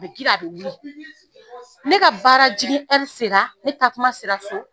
A bɛ girin a bɛ wuli ne ka baara jigin sera ne taa kuma sera so